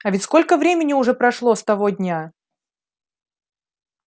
а ведь сколько времени уже прошло с того дня